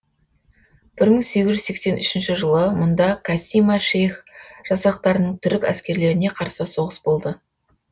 бір мың сегіз жүз сексен үшінші жылы мұнда кассима шейх жасақтарының түрік әскерлеріне қарсы соғыс болды